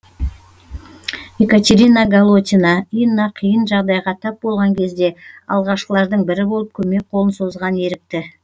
екатерина голотина инна қиын жағдайға тап болған кезде алғашқылардың бірі болып көмек қолын созған ерікті